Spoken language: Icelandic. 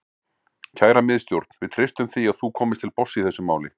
Kæra Miðstjórn, við treystum því að þú komist til botns í þessu máli.